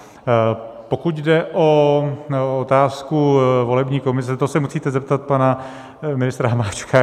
Pokud jde o otázku volební komise, to se musíte zeptat pana ministra Hamáčka.